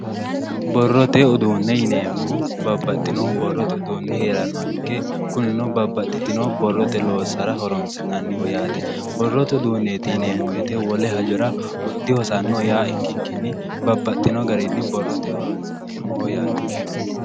Borrote uduune yineemmohu babbaxino borrote uduuni heeeranoha ikke kunnino babbaxitino borrote loossara horonsi'nanniho yaate, borrote uduuneti yinneemmo woyte wole hajoro dihosanoho yaa ikkikkinni babbaxino garinni borrote horonsi'neemmoho yaate.